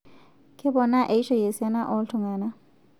Keponaa eishoi esiana oo ltungana